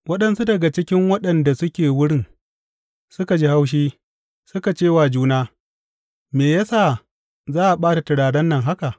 Waɗansu daga cikin waɗanda suke wurin, suka ji haushi, suka ce wa juna, Me ya sa za a ɓata turaren nan haka?